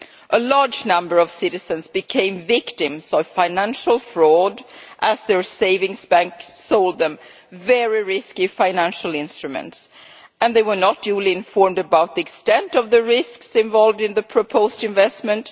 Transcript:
A large number of citizens became victims of financial fraud as their savings banks sold them very risky financial instruments and they were not duly informed about the extent of the risks involved in the proposed investment